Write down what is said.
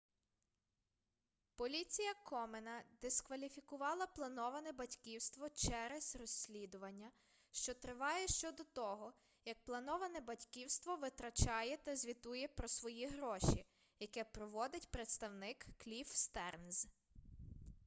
поліція комена дискваліфікувала плановане батьківство через розслідування що триває щодо того як плановане батьківство витрачає та звітує про свої гроші яке проводить представник кліфф стернз